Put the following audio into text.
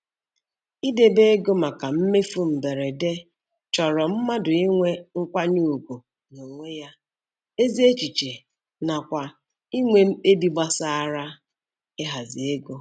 Idebe ego maka mmefu mberede chọrọ mmadụ inwe nkwanyeugwu n'onwe ya, ezi echiche nakwa inwe mkpebi gbasara ịhazi ego.